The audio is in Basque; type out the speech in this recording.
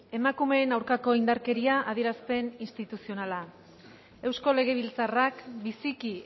emakumeen aurkako indarkeria adierazpen instituzionala eusko legebiltzarrak biziki